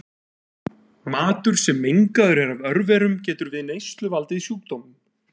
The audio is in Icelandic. matur sem mengaður er af örverum getur við neyslu valdið sjúkdómum